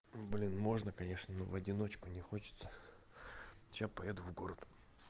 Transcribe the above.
ну блин можно конечно но в одиночку не хочется сейчас поеду в город